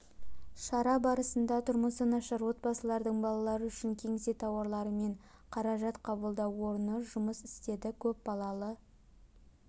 шара барысында тұрмысы нашар отбасылардың балалары үшін кеңсе тауарлары мен қаражат қабылдау орны жұмыс істеді көпбалалы